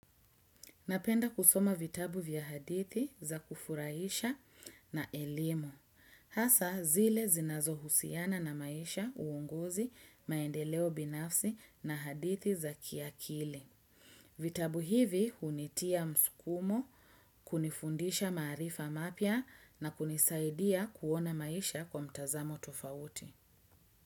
Napenda kusoma vitabu vya hadithi za kufurahisha na elimu. Hasa zile zinazo husiana na maisha uonguzi maendeleo binafsi na hadithi za kiakili. Vitabu hivi hunitia msukumo, kunifundisha maarifa mapya na kunisaidia kuona maisha kwa mtazamo tofauti.